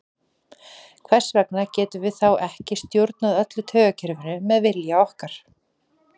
Hvers vegna getum við þá ekki stjórnað öllu taugakerfinu með vilja okkar?